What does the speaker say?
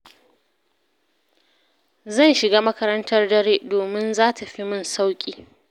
Zan shiga makarantar dare, domin za ta fi min sauƙi.